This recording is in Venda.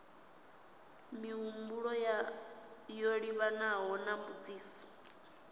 mihumbulo yo livhanaho na mbudziso